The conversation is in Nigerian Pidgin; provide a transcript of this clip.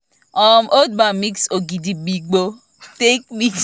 um old man mix ogidigbo take mix wetin wetin boys dey jam